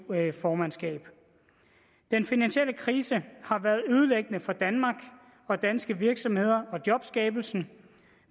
formandskabet den finansielle krise har været ødelæggende for danmark og danske virksomheder og jobskabelsen